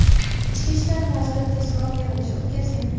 Ichki ishlar vaziri tezkor yig‘ilish o‘tkazgan.